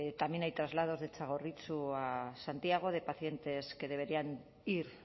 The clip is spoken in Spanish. también hay traslados de txagorritxu a santiago de pacientes que deberían ir